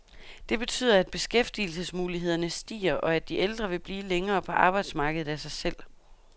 Det betyder, at beskæftigelsesmulighederne stiger, og at de ældre vil blive længere på arbejdsmarkedet af sig selv.